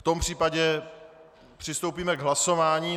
V tom případě přistoupíme k hlasování.